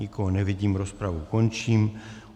Nikoho nevidím, rozpravu končím.